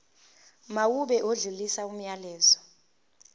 mawube odlulisa umyalezo